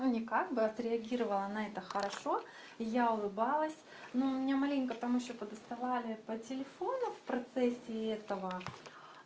ну не как бы отреагировала на это хорошо и я улыбалась но у меня маленько там ещё по доставали по телефону в процессе этого